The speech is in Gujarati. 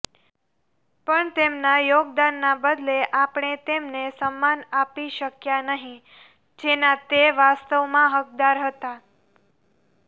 પણ તેમના યોગદાનના બદલે આપણે તેમને સમ્માન આપી શક્યા નહિ જેના તે વાસ્તવમાં હકદાર હતા